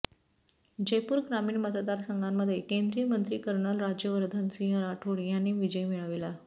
जयपूर ग्रामीण मतदारसंघामध्ये केंद्रीय मंत्री कर्नल राज्यवर्धन सिंह राठोड यांनी विजय मिळविला